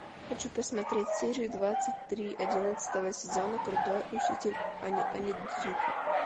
хочу посмотреть серию двадцать три одиннадцатого сезона крутой учитель онидзука